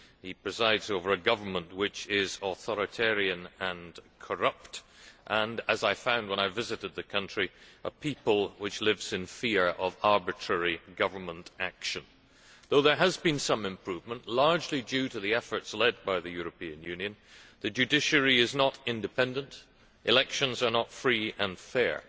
He presides over a government which is authoritarian and corrupt and, as I found when I visited the country, a people which lives in fear of arbitrary government action. Though there has been some improvement largely due to the efforts led by the European Union the judiciary is not independent, elections are not free and fair,